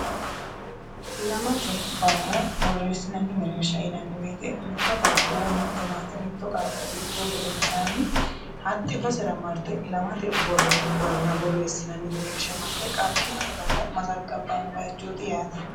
Ilamate Barra boreesinnanni mereersha yinnanni woyete mitto qaaqo woy mite maate mitto qaaqo iltuhu gedensaanni hate basera marite ilammate Barra boreesinnanni mereersha marte qaaqinsa Barra mazagabano bayichooti yaate.